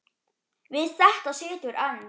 Við þetta situr enn.